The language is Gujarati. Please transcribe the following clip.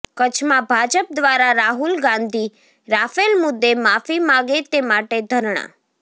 કચ્છમાં ભાજપ દ્વારા રાહુલ ગાંધી રાફેલ મુદ્દે માફી માગે તે માટે ધરણાં